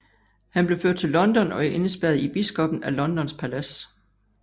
Han blev ført til London og indespærret i biskoppen af Londons palads